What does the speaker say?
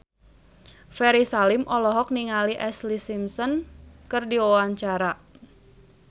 Ferry Salim olohok ningali Ashlee Simpson keur diwawancara